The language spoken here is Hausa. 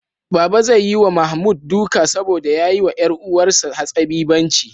Baba zai yi wa Mahmud duka saboda ya yi wa ƴar uwarsa hatsabibanci.